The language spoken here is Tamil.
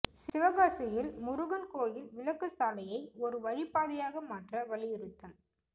சிவகாசியில் முருகன் கோயில் விலக்கு சாலையை ஒரு வழிப்பாதையாக மாற்ற வலியுறுத்தல்